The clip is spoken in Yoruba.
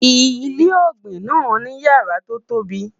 ilé ògbìn nà ní yàrá to tóbi